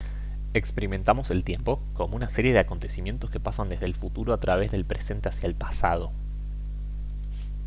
experimentamos el tiempo como una serie de acontecimientos que pasan desde el futuro a través del presente hacia el pasado